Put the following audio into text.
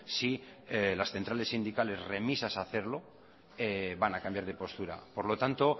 si las centrales sindicales remisas a hacerlo van a cambiar de postura por lo tanto